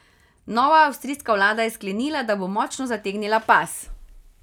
Nova avstrijska vlada je sklenila, da bo močno zategnila pas.